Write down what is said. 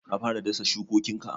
Ka fara dasa shukokinka?